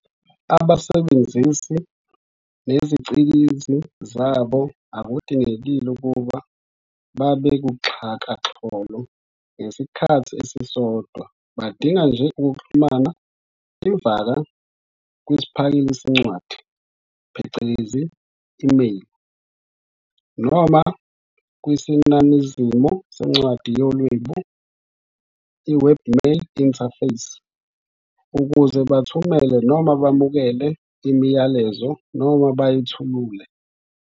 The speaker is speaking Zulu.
Abasebenzisi nezicikizi zabo akudingekile ukuba babekuxhakaxholo ngesikhathi esisodwa, badinga nje ukuxhuma, imvaka kwisiphakeli sencwadi, phecelezi, "i-mail" noma kwisinanazimo sencwadi yolwebu "i-webmail interface" ukuze bathumele noma bamukele imiyalezo noma bayithulule.